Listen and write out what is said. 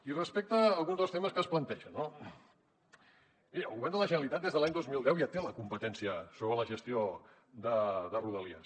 i respecte a alguns dels temes que es plantegen no miri el govern de la generalitat des de l’any dos mil deu ja té la competència sobre la gestió de rodalies